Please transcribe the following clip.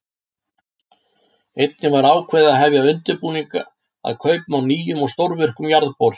Einnig var ákveðið að hefja undirbúning að kaupum á nýjum og stórvirkum jarðbor.